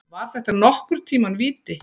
Var þetta nokkurn tíma víti?